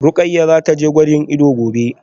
Rukayyah zataje gwajin ido gobe